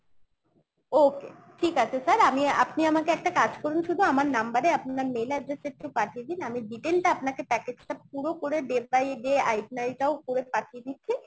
okay ঠিক আছে sir আমি আপনি আমাকে একটা কাজ করুন শুধু আমার number এ আপনার mail address এ একটু পাঠিয়ে দিন আমি details টা আপনাকে package টা পুরো করে day by day পাঠিয়ে দিচ্ছি